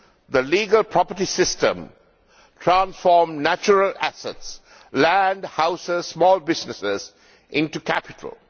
The legal property system transformed natural assets land, houses, small businesses into capital.